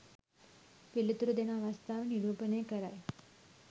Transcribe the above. පිළිතුරු දෙන අවස්ථාව නිරූපණය කරයි.